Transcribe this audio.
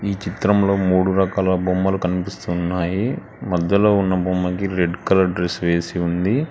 ఈ చిత్రంలో మూడు రకాల బొమ్మలు కనిపిస్తున్నాయి మధ్యలో ఉన్న బొమ్మకి రెడ్ కలర్ డ్రెస్ వేసి ఉంది.